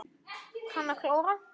Kann að klóra.